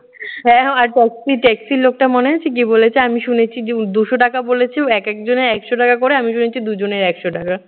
হ্যাঁ, আর taxi taxi র লোকটা মনে আছে? কি বলেছে, আমি শুনেছি যে ও দুশ টাকা বলেছে, ও একেক জনে একশ টাকা করে আমি শুনেছি দুজনে একশ টাকা।